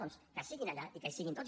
doncs que siguin allà i que hi siguin tots